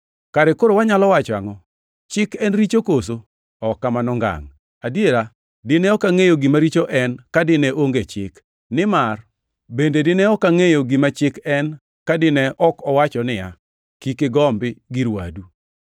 Kare koro wanyalo wacho angʼo? Chik en richo koso? Ok kamano ngangʼ! Adiera, dine ok angʼeyo gima richo en ka dine onge chik. Nimar bende dine ok angʼeyo gima chik en ka dine ok owacho niya, “Kik igombi gir wadu.” + 7:7 \+xt Wuo 20:17; Rap 5:21\+xt*